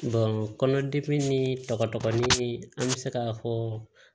kɔnɔdimi ni tɔgɔ dɔgɔnin an bɛ se k'a fɔ